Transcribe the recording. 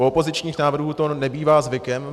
U opozičních návrhů to nebývá zvykem.